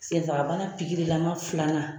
Senfagabana pikirilama filanan